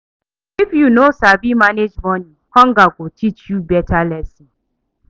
If you no sabi manage money, hunger go teach you beta lesson.